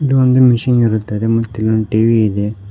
ಇದು ಒಂದು ಮಿಷಿನ್ ಇರುತ್ತದೆ ಮತ್ತು ಇಲ್ಲೊಂದು ಟಿ_ವಿ ಇದೆ.